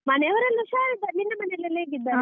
ಮನೆಯವರೆಲ್ಲ ಹುಷಾರಿದ್ದಾರೆ, ನಿನ್ನ ಮನೆಯಲೆಲ್ಲ ಹೇಗಿದ್ದಾರೆ?